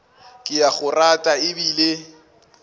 ke a go rata ebile